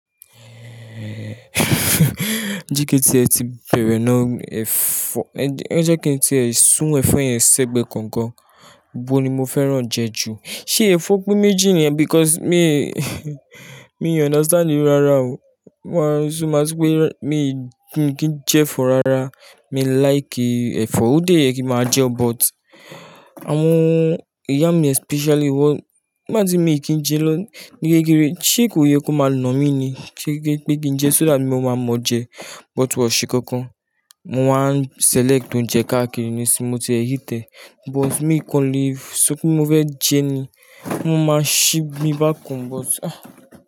Eh, jẹ́ kí tí ẹ ti bẹ̀rẹ̀ náà ẹ̀fọ́, ẹ jẹ́ kí n tí ẹ sun ẹ̀fọ́ yẹn ṣẹgbẹ kankan, bo ni mo fẹ́ràn jẹ ju? Ṣé ẹ̀fọ́ pe méjì ni ẹ because mi mi understand i rara o. Mo máa sún, mo máa sopé, mi kì í jẹ ẹ̀fọ́ rara. Mi like ẹ̀fọ́, ó dé yẹ kí máa jẹ ọ́ but àwọn ìyá mi especially wọ́n, bí má ti mi kì í jẹ lọ ní gẹ́gẹ́ rẹ, ṣe kò yẹ kó máa nà mí ni kí n jẹ so that mo máa mọ jẹ but wọ̀ sí kankan. Mo wá n select oúnjẹ káàkiri ni sí mo ti hate but mi kan le só pé mo fẹ́ jẹ ni, mo máa ṣí bí bá kan but ah!